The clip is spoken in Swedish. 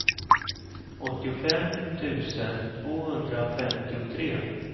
åttiofem tusen tvåhundrafemtiotre